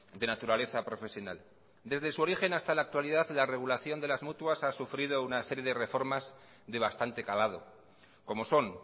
de naturaleza profesional desde su origen hasta la actualidad la regulación de las mutuas ha sufrido una serie de reformas de bastante calado como son